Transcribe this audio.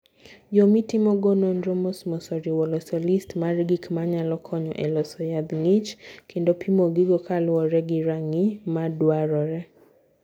Yo mitimogo nonro mosmos, oriwo loso list mar gik ma nyalo konyo e loso yadh ng'ich, kendo pimo gigo kaluwore gi rang'iny madwarore.